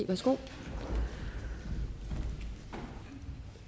værsgo